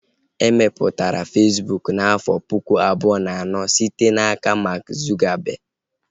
E mepụtara Fesbụụk n'afọ pụkụ abụọ na anọ site n'aka Mark Zuckerberg